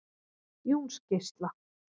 Jónsgeisla